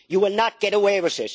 You will not get away